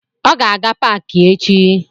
Ọ ga-aga paki echi